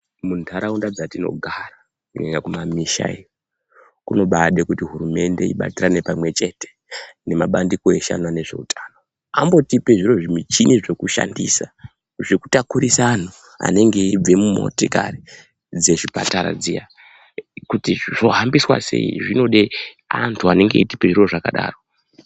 Mu ndaraunda dzatino gara kunyanya ku mamisha iyo kuno baide kuti hurumende ibatirane pamwe chete ne mabandiko eshe anoona nezve utano ambotipe zvimwe zvi michini zvoku shandisa zveku takurisa anhu anenge eibve mu motikari dze chipatara dziya kuti zvo hambiswa sei zvinode antu anenge eyi tipe zviro zvakadaro.